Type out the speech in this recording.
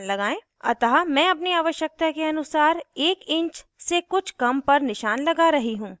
अतः मैं अपनी आवश्यकता के अनुसार 1 इंच से कुछ कम पर निशान लगा रही हूँ